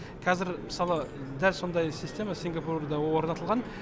қазір мысалы дәл сондай система сингапурда орнатылған